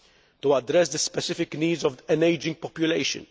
to address the specific needs of an ageing population